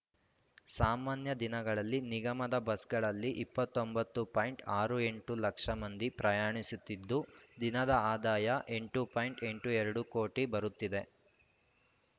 ಸಾಮಾನ್ಯ ದಿನಗಳಲ್ಲಿ ನಿಗಮದ ಬಸ್‌ಗಳಲ್ಲಿ ಇಪ್ಪತ್ತ್ ಒಂಬತ್ತುಪಾಯಿಂಟ್ ಅರು ಎಂಟು ಲಕ್ಷ ಮಂದಿ ಪ್ರಯಾಣಿಸುತ್ತಿದ್ದು ದಿನದ ಆದಾಯ ಎಂಟು ಪಾಯಿಂಟ್ ಎಂಟು ಎರಡು ಕೋಟಿ ಬರುತ್ತಿದೆ